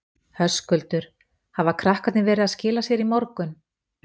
Höskuldur: Hafa krakkarnir verið að skila sér í morgun?